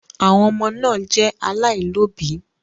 Àwọn ọmọ náà jẹ alailọ̀bí.